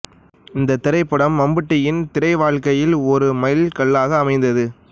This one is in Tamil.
இந்தத் திரைப்படம் மம்முட்டியின் திரை வாழ்க்கையில் ஒரு மைல் கல்லாக அமைந்தது